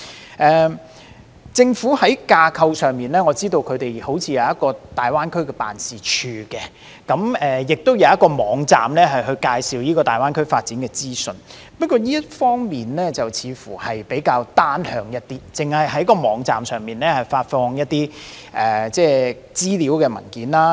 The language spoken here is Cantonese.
我知道政府在架構上好像設有大灣區辦事處，亦設有網站介紹大灣區發展的資訊，但這些工作似乎比較單向，因為只是在網站上發放資料文件。